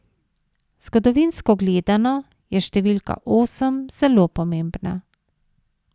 Zgodovinsko gledano, je številka osem zelo pomembna.